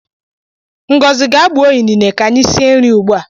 Ngozi gaa gbuo inine ka anyi sie nri ugbua!